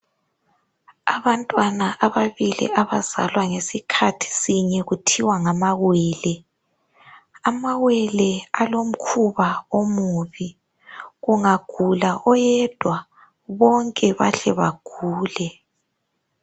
Abantwana ababili abazalwa ngesikhathi sinye kuthiwa ngamawele, amawele alomkhuba omubi kungagula oyedwa bonke bahle bagule.